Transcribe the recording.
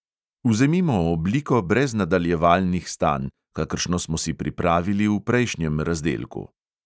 Vzemimo obliko brez nadaljevalnih stanj, kakršno smo si pripravili v prejšnjem razdelku.